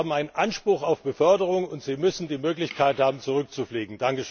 Sie haben einen Anspruch auf Beförderung und müssen die Möglichkeit haben zurückzufliegen.